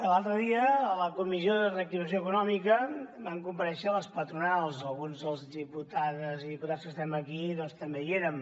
l’altre dia a la comissió de reactivació econòmica van comparèixer les patronals algunes de les diputades i diputats que estem aquí doncs també hi érem